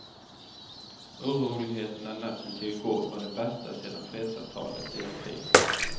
Oroligheterna natten till i går var de värsta sedan fredsavtalet i april.